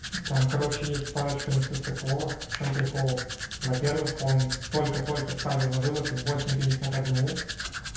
там короче есть парочка несостыковок в чём прикол во-первых он только только ставил на вывод в восемь пятьдесят одну